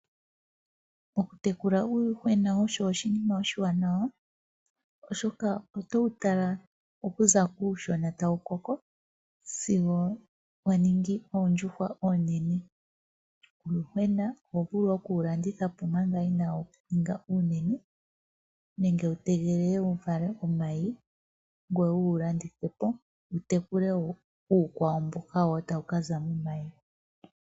Okutekela uuyuhwena osho oshinima oshiwanawa oshoka otowu tàla okuza kuushona tawu koko sigo wa ningi oondjuhwa oonene. Nena oho vulu okuwulanditha omanga inawu ninga uunene nenge wu tegelele wu vale omayi ngoka taga kaza uuyuhwena uukwawo mboka tawu kaza omayi.